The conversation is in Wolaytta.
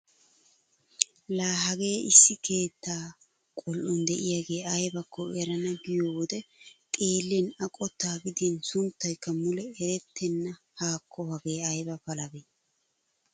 Laa hagee issi keettaa qol"on de'iyagee aybakko erana giyo wode xeellin A qottaa gidin sunttaykka mule erttenna haakko hagee ayba palabee!